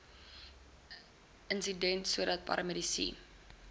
insident sodat paramedici